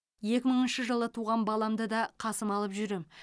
екі мыңыншы жылы туған баламды да қасыма алып жүрем